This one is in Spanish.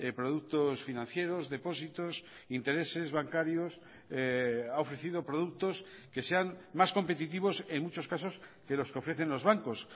productos financieros depósitos intereses bancarios ha ofrecido productos que sean más competitivos en muchos casos que los que ofrecen los bancos